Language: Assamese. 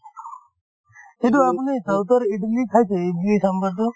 সেইটো আপুনি south ৰ ইদলি খাইছে ইদলি ছামভাৰতো